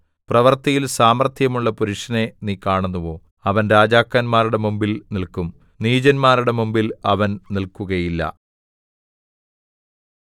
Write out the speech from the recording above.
പ്രവൃത്തിയിൽ സാമർത്ഥ്യമുള്ള പുരുഷനെ നീ കാണുന്നുവോ അവൻ രാജാക്കന്മാരുടെ മുമ്പിൽ നില്ക്കും നീചന്മാരുടെ മുമ്പിൽ അവൻ നില്‍ക്കുകയില്ല